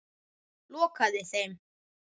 Lokaði þeim.